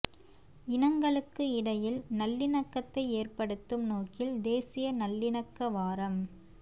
இனங்களுக்கு இடையில் நல்லிணக்கத்தை ஏற்படுத்தும் நோக்கில் தேசிய நல்லிணக்க வாரம்